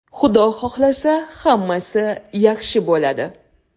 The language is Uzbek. Xudo xohlasa, hammasi yaxshi bo‘ladi.